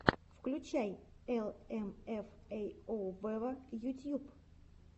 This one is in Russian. включай эл эм эф эй оу вево ютьюб